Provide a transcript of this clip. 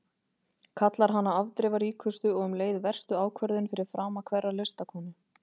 Kallar hana afdrifaríkustu og um leið verstu ákvörðun fyrir frama hverrar listakonu.